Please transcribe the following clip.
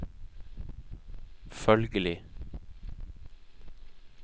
følgelig